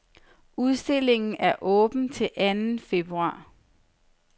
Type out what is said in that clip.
Udstillingen er åben til anden februar.